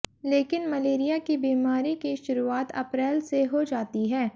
लेकिन मलेरिया की बीमारी की शुरुआत अप्रैल से हो जाती है